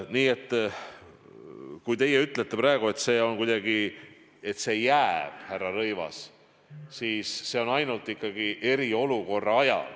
Nii et see kehtib, härra Rõivas, ikkagi ainult eriolukorra ajal.